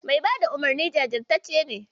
Mai bayar da umarnin jajirtacce ne.